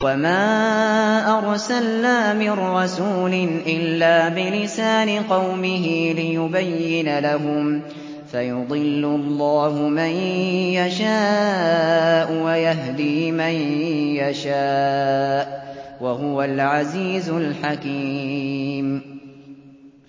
وَمَا أَرْسَلْنَا مِن رَّسُولٍ إِلَّا بِلِسَانِ قَوْمِهِ لِيُبَيِّنَ لَهُمْ ۖ فَيُضِلُّ اللَّهُ مَن يَشَاءُ وَيَهْدِي مَن يَشَاءُ ۚ وَهُوَ الْعَزِيزُ الْحَكِيمُ